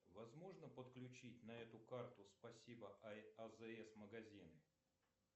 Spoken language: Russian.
возможно подключить на эту карту спасибо азс магазин